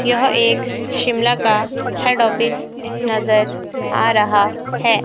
यह एक शिमला का हेड ऑफिस नजर आ रहा है।